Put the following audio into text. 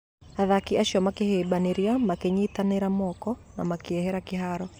Athaki acio makĩhĩmbania, makĩnyiitanĩra moko na makiehera kĩhaaro.